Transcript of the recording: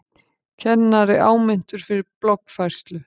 Kennari áminntur fyrir bloggfærslu